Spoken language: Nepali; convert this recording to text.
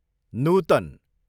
नुतन